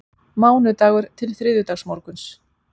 Mánudagur til þriðjudagsmorguns